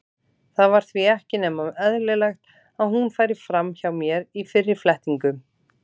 Það var því ekki nema eðlilegt að hún færi fram hjá mér í fyrri flettingum.